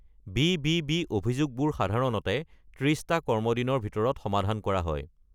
BBB. অভিযোগবোৰ সাধাৰণতে ৩০-টা কৰ্মদিনৰ ভিতৰত সমাধান কৰা হয়।